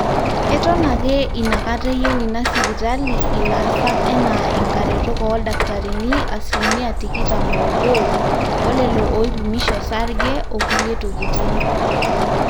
eton ake inakata eyieu inasipitali ilaasak enaa inkaretok ooldakitarini asilimia tikitam oobo olelo ooipimisho osarge okulie tokitin.